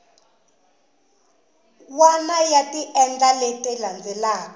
wana ya tindlela leti landzelaka